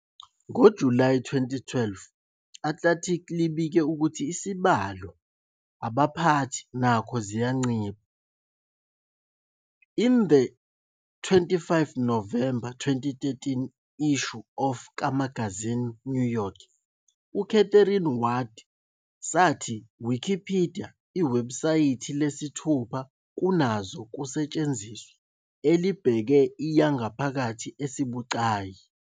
ngo July 2012, Atlantic libike ukuthi isibalo abaphathi nako ziyancipha. in the 25 November 2013 issue of kamagazini New York, uKatherine Ward sathi "Wikipedia, iwebhusayithi lesithupha-kunazo-kusetshenziswa, elibheke i yangaphakathi esibucayi.